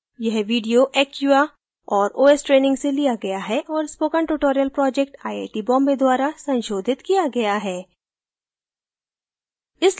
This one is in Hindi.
यह video acquia और os ट्रेनिंग से लिया गया है और spoken tutorial project IIT Bombay द्वारा संशोधित किया गया है